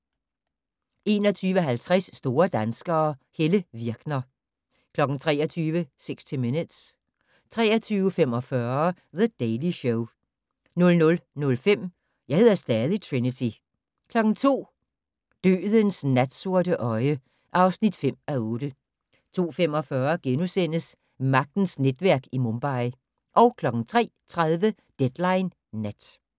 21:50: Store danskere - Helle Virkner 23:00: 60 Minutes 23:45: The Daily Show 00:05: Jeg hedder stadig Trinity 02:00: Dødens natsorte øje (5:8) 02:45: Magtens netværk i Mumbai * 03:30: Deadline Nat